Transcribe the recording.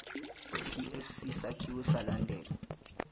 psc sakhiwe salandela